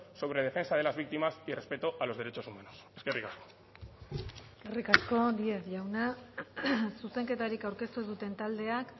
sobre defensa de las víctimas y respeto a los derechos humanos eskerrik asko eskerrik asko díez jauna zuzenketarik aurkeztu ez duten taldeak